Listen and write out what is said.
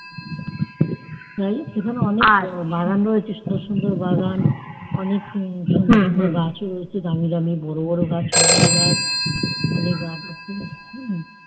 সেখানে অনেক বাগান রয়েছে সুন্দর সুন্দর বাগান অনেক সুন্দর সুন্দর গাছ ও রয়েছে বোরো বোরো গাছ ছোট ছোট গাছ